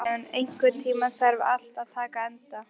Leon, einhvern tímann þarf allt að taka enda.